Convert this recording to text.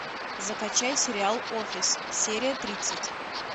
закачай сериал офис серия тридцать